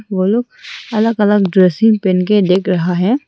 वो लोग अलग अलग ड्रेसेस पहन के दिख रहा है।